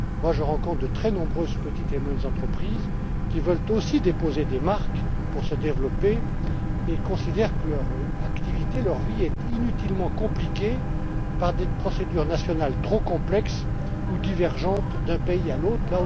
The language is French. Je rencontre de très nombreuses petites et moyennes entreprises qui veulent aussi déposer des marques pour se développer et qui considèrent que leur activité leur vie est inutilement compliquée par des procédures nationales trop complexes ou divergentes d'un pays à l'autre.